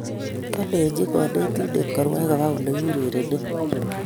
Kolenji konetindet korwai koba olekiurerene